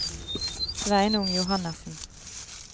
Sveinung Johannessen